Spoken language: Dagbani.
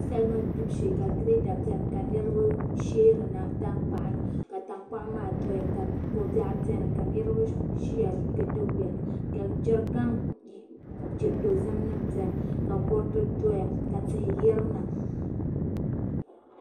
Salima gbibu shee ka girɛda biɛni ka niraba sheerina tankpaɣu ni ka tankpaɣu maa doya ka ko biɛɣu biɛni ka niraba ʒiya ka doo biɛni ka jɛrikan dozim nim biɛni ka kuriti doya ka tihi yirina